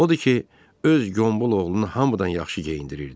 Odur ki, öz Qombul oğlunu hamıdan yaxşı geyindirirdi.